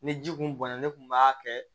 Ni ji kun bɔnna ne kun b'a kɛ